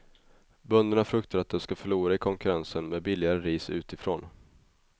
Bönderna fruktar att de ska förlora i konkurrensen med billigare ris utifrån.